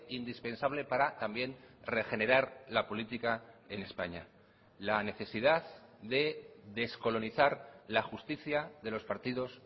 indispensable para también regenerar la política en españa la necesidad de descolonizar la justicia de los partidos